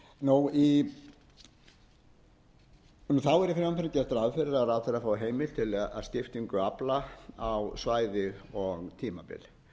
þess í frumvarpinu er gert ráð fyrir að ráðherra fái heimild til að skiptingu afla á svæði og um tímabil